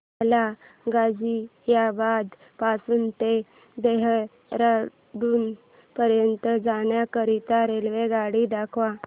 मला गाझियाबाद पासून ते देहराडून पर्यंत जाण्या करीता रेल्वेगाडी दाखवा